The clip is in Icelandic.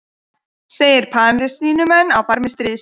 Segir Palestínumenn á barmi stríðs